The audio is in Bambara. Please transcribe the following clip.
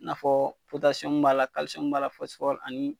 N'afɔ potasiyɔmu b'a la kalisiyɔmu b'a la fɔsifɔri ani